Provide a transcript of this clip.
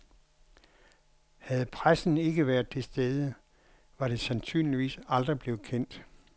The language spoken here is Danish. Havde pressen ikke været til stede, var det sandsynligvis aldrig blevet kendt.